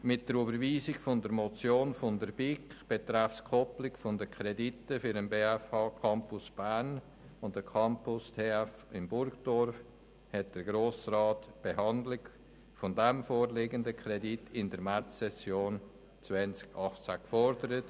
Mit der Überweisung der Motion der BiK betreffend die Koppelung der Kredite für den Campus der BFH und den Campus TF Bern in Burgdorf hat der Grosse Rat die Behandlung des vorliegenden Kredits in der Märzsession 2018 gefordert.